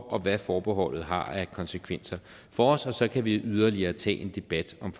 og hvad forbeholdet har af konsekvenser for os og så kan vi yderligere tage en debat om